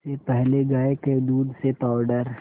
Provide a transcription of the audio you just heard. इससे पहले गाय के दूध से पावडर